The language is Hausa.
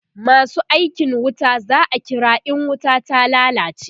masu aikin wuta za'a kira in wuta ta lallace